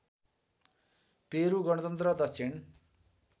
Peru गणतन्त्र दक्षिण